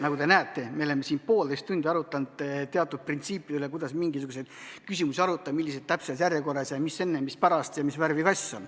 Nagu te näete, me oleme siin poolteist tundi arutlenud teatud printsiipide üle, kuidas mingisuguseid küsimusi arutada, millises järjekorras, mida enne ja mida pärast ja mis värvi on kass.